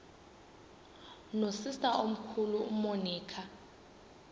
nosister omkhulu umonica